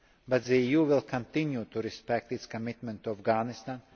and difficult but the EU will continue to respect its commitment to